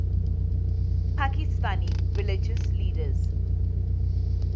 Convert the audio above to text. pakistani religious leaders